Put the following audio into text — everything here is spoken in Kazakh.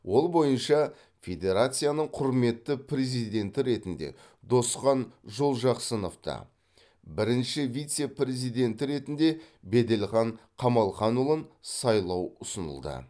ол бойынша федерацияның құрметті президенті ретінде досхан жолжақсыновты бірінші вице президенті ретінде бәделхан камалханұлын сайлау ұсынылды